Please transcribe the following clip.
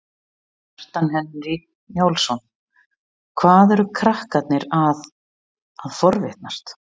Kjartan Hreinn Njálsson: Hvað eru krakkarnir að, að forrita?